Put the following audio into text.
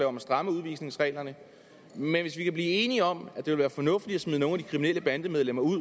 om at stramme udvisningsreglerne men hvis vi kan blive enige om at det vil være fornuftigt at smide nogle af de kriminelle bandemedlemmer